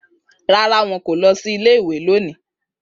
Rárá, wọn kò lọ sí ilé-ìwé lónìí